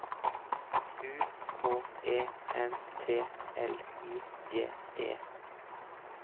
U K E N T L I G E